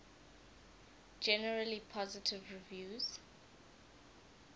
generally positive reviews